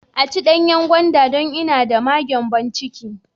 I ci danyan gwanda don ina d ma gyanbon ciki.